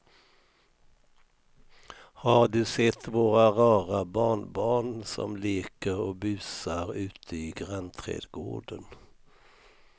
Har du sett våra rara barnbarn som leker och busar ute i grannträdgården!